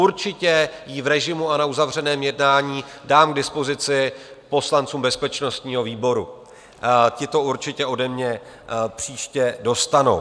Určitě ji v režimu a na uzavřeném jednání dám k dispozici poslancům bezpečnostního výboru, ti to určitě ode mne příště dostanou.